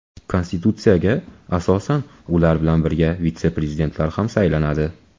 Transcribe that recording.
Konstitutsiyaga asosan, ular bilan birga vitse-prezidentlar ham saylanadi.